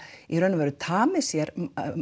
í raun tamið sér